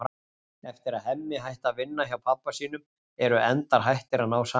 Eftir að Hemmi hætti að vinna hjá pabba sínum eru endar hættir að ná saman.